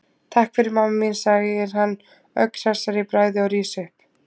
Takk fyrir, mamma mín, segir hann ögn hressari í bragði og rís upp.